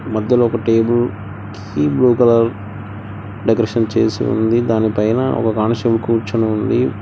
మధ్యలో ఒక table blue colour decoration చేసి ఉంది దానిపైన ఒక కానిస్టేబుల్ కూర్చుని ఉంది.